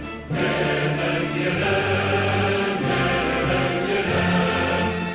менің елім менің елім